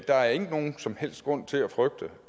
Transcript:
der er ikke nogen som helst grund til at frygte